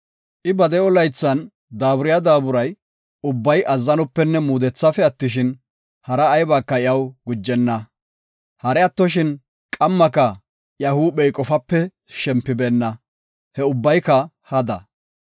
I ba de7o laythan daaburiya daaburi ubbay azzanopenne muudethafe attishin, hari aybika iyaw gujenna; hari attoshin qammaka iya huuphey qofape shempenna; he ubbayka hada.